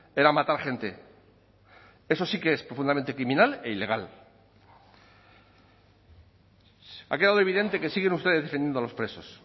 era matar gente eso sí que es profundamente criminal e ilegal ha quedado evidente que siguen ustedes defendiendo a los presos